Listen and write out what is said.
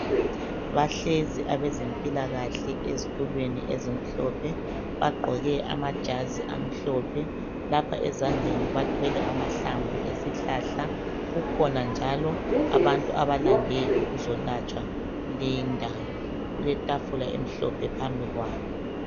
Bahlezi abezempilakahle eztulweni ezimhlophe bagqoke amajazi amhlophe. Lapha ezandleni bathwele amahlamvu esihlahla, kukhona njalo abantu abalande ukuzolatshwa kuleyindawo kuletafula emhlophe ohambi kwabo.